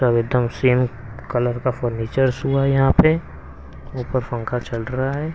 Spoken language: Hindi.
सब एकदम सेम कलर का फर्नीचर्स हुआ है यहां पे ऊपर फंका चल रहा है.